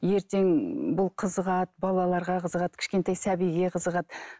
ертең бұл қызығады балаларға қызығады кішкентай сәбиге қызығады